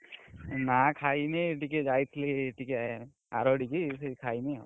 ନା ଖାଇନି ଟିକେ ଯାଇଥିଲି ଟିକେ, ଆରଡି କି ଖାଇନି ଆଉ,